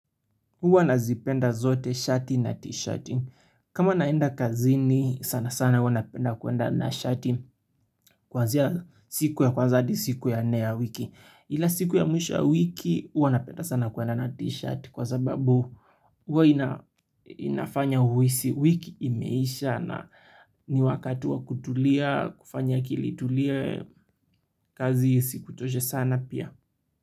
Huwa nazipenda zote shati na t-shati. Kama naenda kazini sana sana huwa napenda kuenda na shati kwanzia siku ya kwanza hadi siku ya nne ya wiki. Ila siku ya mwisho ya wiki huwa napenda sana kuenda na tshirt kwa sababu huwa ian inafanya uhisi wiki imeisha na ni wakati wa kutulia kufanya akili itulie kazi isikuchoshe sana pia.